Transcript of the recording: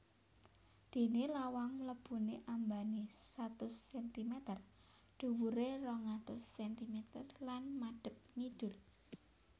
Déné lawang mlebuné ambané satus sentimeter dhuwuré rong atus sentimeter lan madhep ngidul